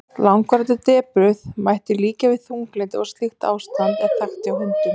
langvarandi depurð mætti líkja við þunglyndi og slíkt ástand er þekkt hjá hundum